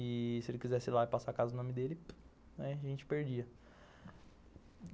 E se ele quisesse ir lá e passar a casa no nome dele, a gente perdia.